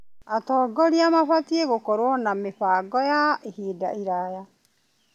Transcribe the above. Atongoria mabatiĩ gũkorwo na mĩbango ya ihinda iraya.